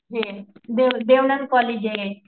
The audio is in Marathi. हे देव देवानंद कॉलेजे